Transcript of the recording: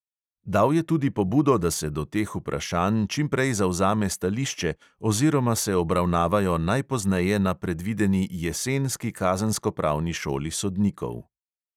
Dal je tudi pobudo, da se do teh vprašanj čim prej zavzame stališče oziroma se obravnavajo najpozneje na predvideni jesenski kazenskopravni šoli sodnikov.